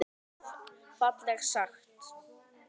Stór orð og fallega sagt.